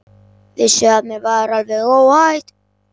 Vissi að mér var alveg óhætt.